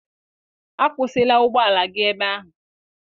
A kwụsịla ụgbọ ala gị ebe ahụ!